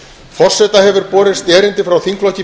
forseta hefur borist erindi frá þingflokki